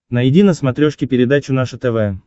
найди на смотрешке передачу наше тв